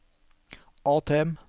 ATM